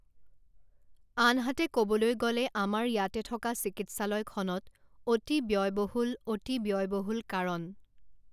আনহাতে ক'বলৈ গ'লে আমাৰ ইয়াতে থকা চিকিৎসালয়খনত অতি ব্যয়বহূল অতি ব্যয়বহূল কাৰণ